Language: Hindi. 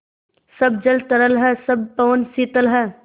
सब जल तरल है सब पवन शीतल है